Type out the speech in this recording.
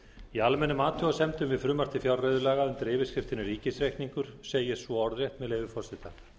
í almennum athugasemdum við frumvarp til fjárreiðulaga undir yfirskriftinni ríkisreikningur segir svo orðrétt með leyfi forseta